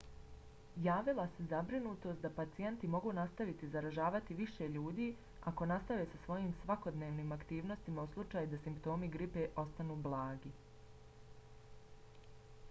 javila se zabrinutost da pacijenti mogu nastaviti zaražavati više ljudi ako nastave sa svojim svakodnevnim aktivnostima u slučaju da simptomi gripe ostanu blagi